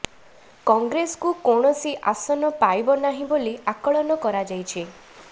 କଂଗ୍ରେସକୁ କୌଣସି ଆସନ ପାଇବ ନାହିଁ ବୋଲି ଆକଳନ କରାଯାଇଛି